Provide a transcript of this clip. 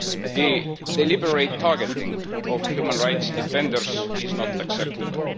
The deliberate targeting of human rights defenders is not acceptable.